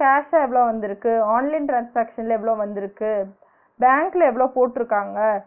cash ஆ எவ்ளோ வந்திருக்கு, online transaction ல்ல எவ்ளோ வந்திருக்கு, பேங்க்ல எவ்ளோ போற்றுக்காங்க